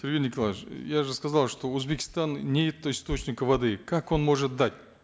сергей николаевич я же сказал что у узбекистана нет источника воды как он может дать